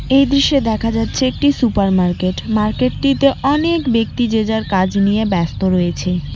এই দৃশ্যে দেখা যাচ্ছে একটি সুপার মার্কেট মার্কেটটিতে অনেক ব্যক্তি যে যার কাজ নিয়ে ব্যস্ত রয়েছে।